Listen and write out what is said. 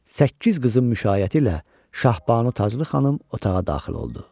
Səkkiz qızın müşayiəti ilə Şahbanu Taclı xanım otağa daxil oldu.